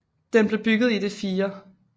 Den blev bygget i det 4